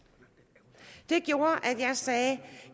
det gjorde at